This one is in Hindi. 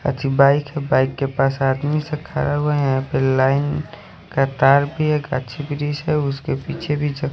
अच्छी बाइक है बाइक के पास आदमी खड़ा हुआ है यहाँ पे लाइन उसके पीछे भी--